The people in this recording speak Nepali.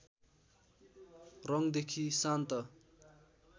रङदेखि शान्त